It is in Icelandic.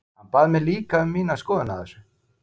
Hann bað mig líka um mína skoðun á þessu.